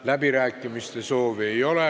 Läbirääkimiste soovi ei ole.